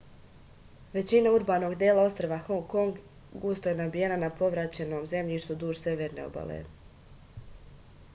većina urbanog dela ostrva hong kong gusto je nabijena na povraćenom zemljištu duž severne obale